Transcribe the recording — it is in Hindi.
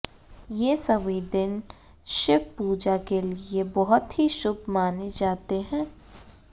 ये सभी दिन शिव पूजा के लिए बहुत ही शुभ माने जाते हैं